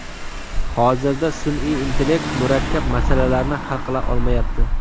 Hozirda sun’iy intellekt murakkab masalalarni hal qila olmayapti.